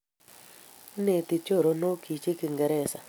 ineti choronoikchich kiingeresa